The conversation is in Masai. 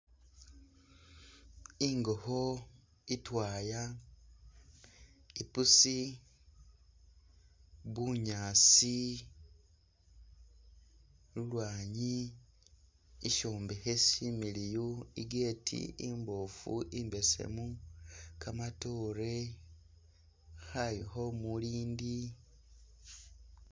Ingokho itwaya ipusi, bunyaasi, lulwanyi ishombekhe shimiliyu I gate imbofu imbesemu kamatoore khaayu khe umulindi